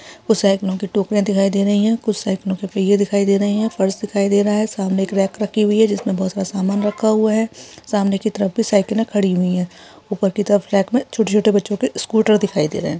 कुछ सायकलो के टोक्रिया दिखाई दे रही है। कुछ सायकलों के पहिये दिखाई दे रहे है। फर्श दिखाई दे रहा है। सामने एक रैक रखी हुई है जिसमें बहोत सारा सामान रखा हुआ है। सामने की तरफ भी सायकलें खड़ी हुई है ऊपर की तरफ रैक में छोटे छोटे बच्चो के स्कूटर दिखाई दे रहे है।